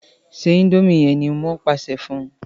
se indomie yén! ní wón pàṣẹ fún